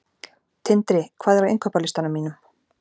Tindri, hvað er á innkaupalistanum mínum?